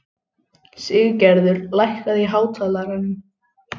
Siggerður, lækkaðu í hátalaranum.